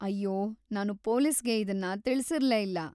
ಅಯ್ಯೋ, ನಾನು ಪೊಲೀಸ್‌ಗೆ ಇದನ್ನ ತಿಳಿಸಿರ್ಲೇ ಇಲ್ಲ.